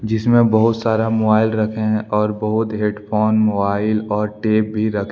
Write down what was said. जिसमें बहुत सारा मोआइल रखे हैं और बहुत हेडफोन मोआइल और टेप भी रखें --